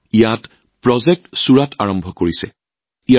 তাতে প্ৰজেক্ট ছুৰাট আৰম্ভ কৰিছে যুৱকযুৱতীৰ এটা দলে